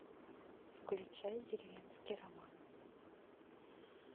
включай деревенский роман